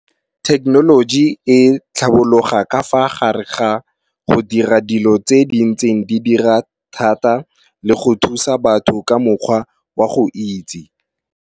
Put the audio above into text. Technology e tlhabologa ka fa gare ga go dira dilo tse di ntseng di dira thata le go thusa batho ka mokgwa wa go itse.